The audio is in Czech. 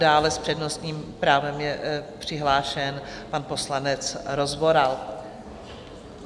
Dále s přednostním právem je přihlášen pan poslanec Rozvoral.